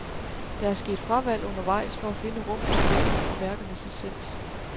Der er sket fravalg undervejs for at finde rummets stemning og værkernes essens.